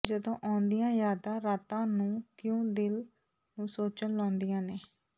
ਜਦੋ ਆਉਂਦੀਆਂ ਯਾਦਾਂ ਰਾਤਾਂ ਨੂੰ ਕਿਉਂ ਦਿਲ ਨੂੰ ਸੋਚਣ ਲਾਉਦੀਆਂ ਨੇ